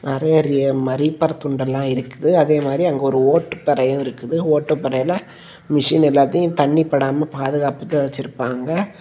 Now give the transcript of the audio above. நெறயரிய மரிப்பார் துண்டெல்லாம் இருக்குது அதே மாறி அங்க ஒரு ஓட்டுபறையும் இருக்குது ஓட்டுபறைல மெஷின் எல்லாத்தையும் தண்ணி படாம பாதுகாப்புதா வச்சிருப்பாங்க.